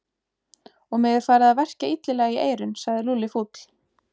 Og mig er farið að verkja illilega í eyrun sagði Lúlli fúll.